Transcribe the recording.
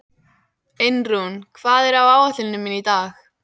Einrún, hvað er á áætluninni minni í dag?